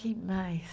Quem mais?